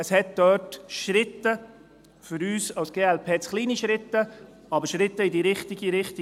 Es gab dort Schritte, für uns als glp zu kleine Schritte, aber Schritte in die richtige Richtung.